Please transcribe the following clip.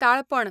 ताळपण